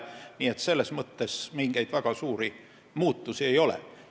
Nii et selles mõttes mingeid väga suuri muutusi ei ole.